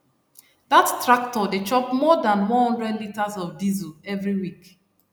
dat tractor dey chop more than one hundred litres of diesel every week